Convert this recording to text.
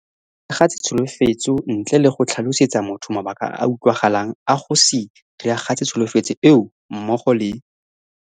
Go se diragatse tsholofetso ntle le go tlhalosetsa motho mabaka a a utlwagalang a go se diragatse tsholofetso eo, mmogo le